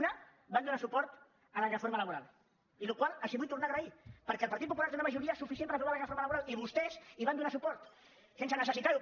una van donar suport a la reforma laboral la qual cosa els vull tornar a agrair perquè el partit popular té una majoria suficient per aprovar la reforma laboral i vostès hi van donar suport sense necessitar ho